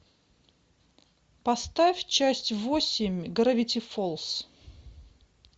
поставь часть восемь гравити фолз